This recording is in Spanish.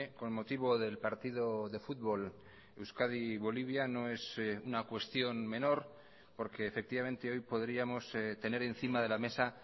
con motivo del partido de fútbol euskadi bolivia no es una cuestión menor porque efectivamente hoy podríamos tener encima de la mesa